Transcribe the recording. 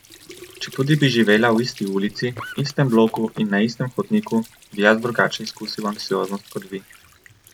Četudi bi živela v isti ulici, istem bloku in na istem hodniku, bi jaz drugače izkusil anksioznost kot vi.